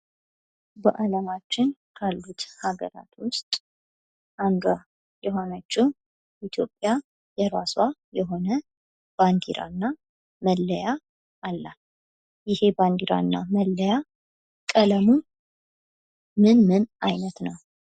በአለማችን ካሉት አገራት ውስጥ አንዷ የሆነችው ኢትዮጵያ የራሷ የሆነ ባንዲራ እና መለያ አላት። ይሄ ባንድራ እና መለያ ቀለሙ ምን ምን አይነት ነው?